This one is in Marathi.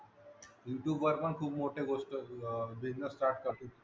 youtube वर पण खूप मोठे गोष्ट business start करत